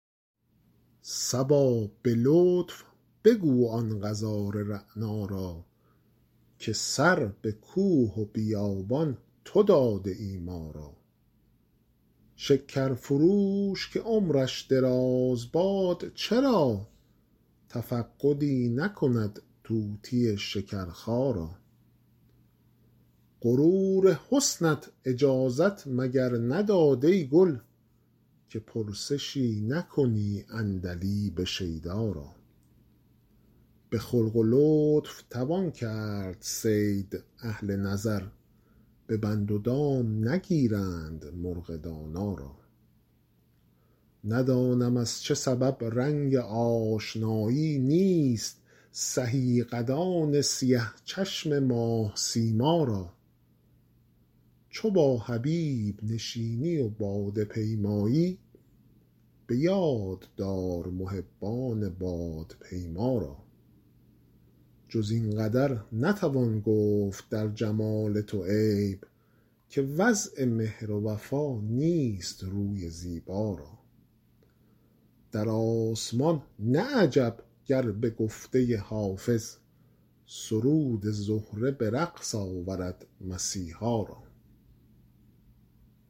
صبا به لطف بگو آن غزال رعنا را که سر به کوه و بیابان تو داده ای ما را شکر فروش که عمرش دراز باد چرا تفقدی نکند طوطی شکرخا را غرور حسنت اجازت مگر نداد ای گل که پرسشی نکنی عندلیب شیدا را به خلق و لطف توان کرد صید اهل نظر به بند و دام نگیرند مرغ دانا را ندانم از چه سبب رنگ آشنایی نیست سهی قدان سیه چشم ماه سیما را چو با حبیب نشینی و باده پیمایی به یاد دار محبان بادپیما را جز این قدر نتوان گفت در جمال تو عیب که وضع مهر و وفا نیست روی زیبا را در آسمان نه عجب گر به گفته حافظ سرود زهره به رقص آورد مسیحا را